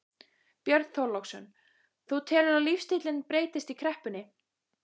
Björn Þorláksson: Þú telur að lífstíllinn breytist í kreppunni?